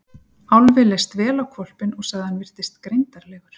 Álfi leist vel á hvolpinn og sagði að hann virtist greindarlegur.